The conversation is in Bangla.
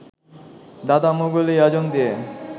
দাদা মোগল ই আযম দিয়ে